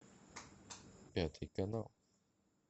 пятый канал